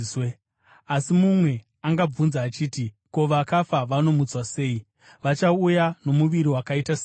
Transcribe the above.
Asi mumwe angabvunza achiti, “Ko, vakafa vanomutswa sei? Vachauya nomuviri wakaita seiko?”